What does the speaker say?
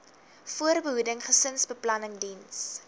voorbehoeding gesinsbeplanning diens